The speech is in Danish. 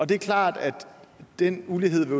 det er klart at den ulighed